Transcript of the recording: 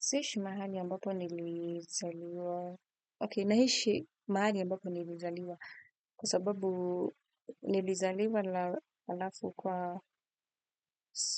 Si ishi mahali ambapo nilizaliwa. Ok, naishi mahali ambapo nilizaliwa. Kwa sababu nilizaliwa la alafu kwa